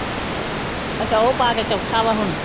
ਅੱਛਾ ਉਹ ਪਾ ਕੇ ਚੌਥਾ ਵਾ ਹੁਣ।